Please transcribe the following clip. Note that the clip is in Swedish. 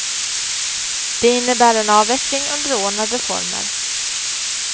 Det innebär en avveckling under ordnade former.